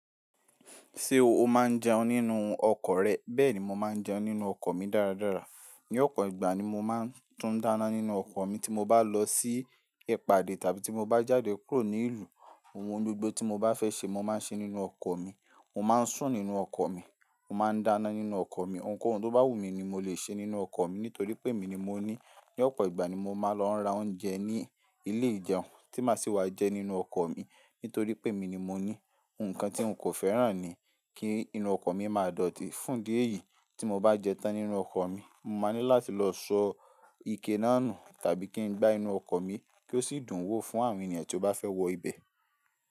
Ṣé o máa ń jẹun nínú ọkọ̀ rẹ? Bẹ́ẹ̀ni, mo máa ń jẹun nínú ọkọ̀ mi dáradára. Ní ọ̀pọ̀ ìgbà ni mo máa ń tún dáná nínú ọkọ̀ mi tí mo bá lọ sí ipàdé tàbí tí mo bá jáde kúrò nílùú. Ohun gbogbo tí mo bá fẹ́ ṣe, mo máa ń ṣe nínú ọkọ̀ mi. Mo máa ń sùn nínú ọkọ̀ mi, mo máa ń dáná nínú ọkọ̀ mi. Ǹkan ohun tó bá wù mí ni mo lè ṣe nínú ọkọ̀ mi nítorí pé èmi ni mo ní. Ní ọ̀pọ̀ ìgbà ni mo máa ń lọ ra oúnjẹ ní ilé ìjẹun tí máa sì wá jẹ nínú ọkọ̀ mi nítorí pé èmi ni mo ní. Ǹkan tí n kò fẹ́ràn ni kí inú ọkọ̀ mi máa dọ̀tí. Fún díẹ̀ yìí, tí mo bá jẹ tán nínú ọkọ̀ mi, mo máa ní láti lọ sọ ike náà nù tàbí kí n gbá inú ọkọ̀ mi kí ó sì dùn wò fún àwọn ènìyàn tí ó bá fẹ́ wọ ibẹ̀.